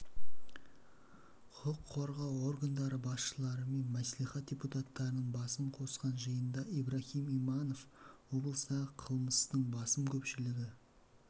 құқық қорғау органдары басшылары мен мәслихат депутаттарының басын қосқан жиында ибраһим иманов облыстағы қылмыстың басым көпшілігі